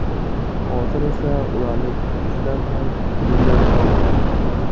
Hozir esa ularning ikkisidan ham minnatdorman.